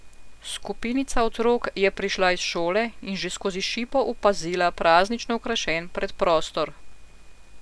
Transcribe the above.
Skupinica otrok je prišla iz šole in že skozi šipo opazila praznično okrašen predprostor.